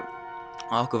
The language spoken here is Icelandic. að okkur